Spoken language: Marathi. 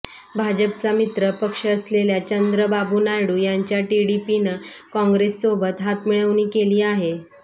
भाजपचा मित्र पक्ष असलेल्या चंद्रबाबु नायडू यांच्या टीडीपीनं काँग्रेससोबत हातमिळवणी केली आहे